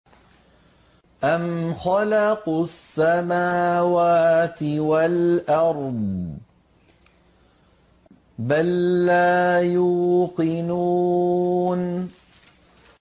أَمْ خَلَقُوا السَّمَاوَاتِ وَالْأَرْضَ ۚ بَل لَّا يُوقِنُونَ